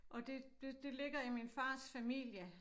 Og det det det ligger i min fars familie